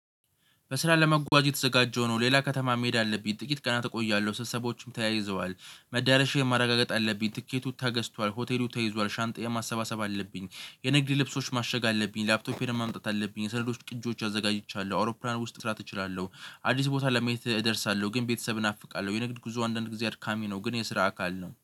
በስራ ለመጓዝ የተዘጋጀው ነው። ሌላ ከተማ መሄድ አለብኝ። ጥቂት ቀናት እቆያለሁ። ስትሰቦችም ተያይዘዋል፤ መዳረሻ የማረጋገጥ አለብኝ፤ ትኬቱ ተገዝቷል፤ ሆቴሉ ተይዟል፤ ሻንጣዬን ማሰባሰብ አለብኝ፤ የንግድ ልብሶች ማሸግ አለብኝ፤ ላፕቶፔን ማምጣት አለብኝ የሰነዶች ቅጆች አዘጋጅቻለሁ አውሮፕላን ውስጥ ስራ እችላለሁ። አዲስ ቦታ ለማየት እደርሳለሁ። ግን ቤተሰብ ናፍቃለ፤ የንግድ ጉዞ አንዳንድ ጊዜ አድካሚ ነው። ግን የስራ አካል ነው